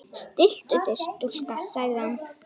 Stilltu þig stúlka, sagði hann.